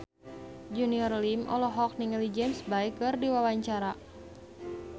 Junior Liem olohok ningali James Bay keur diwawancara